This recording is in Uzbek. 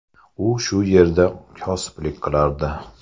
U shu yerda kosiblik qilardi.